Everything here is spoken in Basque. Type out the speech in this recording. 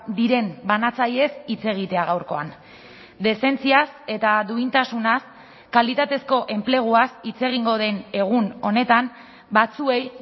diren banatzailez hitz egitea gaurkoan dezentziaz eta duintasunaz kalitatezko enpleguaz hitz egingo den egun honetan batzuei